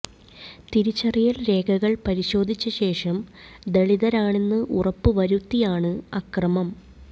തിരിച്ചറിയൽ രേഖകൾ പരിശോധിച്ച ശേഷം ദളിതരാണെന്ന് ഉറപ്പ് വരുത്തിയാണ് അക്രമം